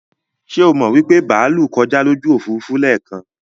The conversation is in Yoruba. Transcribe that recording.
Ṣé o mọ wípé bàálú kọjá lójú Òfurufú lẹ́kan?